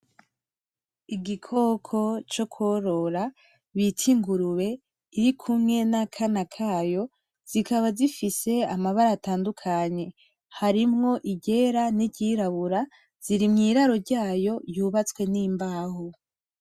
Igikoko co korora bita ingurube iri kumwe n’akana kayo zikaba zifise amabara atandukanye harimwo iryera n’iryirabura ziri mw'iraro ryayo yubatswe n’imbaho.